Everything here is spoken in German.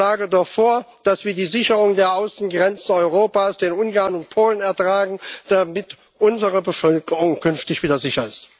Ich schlage vor, dass wir die Sicherung der Außengrenzen Europas den Ungarn und Polen übertragen, damit unsere Bevölkerung künftig wieder sicher ist.